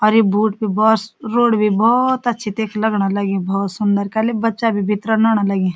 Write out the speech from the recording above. और यू बोट बि बस रोडवे भौत अच्छी तख लगण लग्यु भौंत सुंदर खाली बच्चा भी भितरन आणन लग्यां।